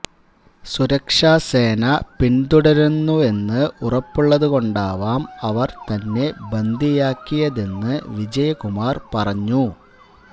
സുരക്ഷസേന പിന്തുടരുന്നുവെന്ന് ഉറപ്പുള്ളതുകൊണ്ടാവാം അവര് തന്നെ ബന്ദിയാക്കിയതെന്ന് വിജയ കുമാർ പറഞ്ഞു